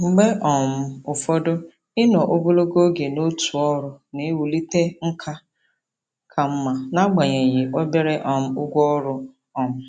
Mgbe um ụfọdụ, ịnọ ogologo oge n'otu ọrụ na-ewulite nkà ka mma n'agbanyeghị obere um ụgwọ ọrụ. um